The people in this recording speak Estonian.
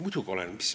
" Muidugi olen.